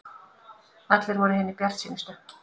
Allir voru hinir bjartsýnustu.